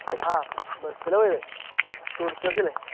ആ bus ലാ പോയെ tourist bus ഇല്ലേ